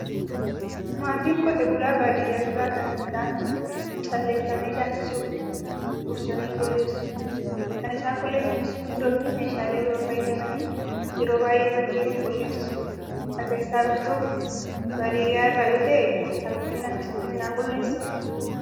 Maatiin qotee bulaa baadiyaa jiraatan midhaan calleeffame daaksisuuf dursanii qulleessu. Kan isaan qulleessanis gundoo fi meeshaalee biroo fayyadamanii, yeroo baay'ee bakkeetti qulleessu. Ati eessaa dhuftu? Baadiyaa irraa yoo ta'e, harmootiin akkasitti midhaan qulleessuu?